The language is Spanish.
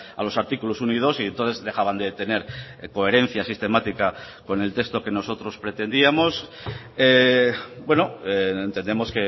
a los artículos uno y dos y entonces dejaban de tener coherencia sistemática con el texto que nosotros pretendíamos entendemos